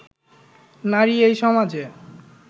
নারী এই সমাজে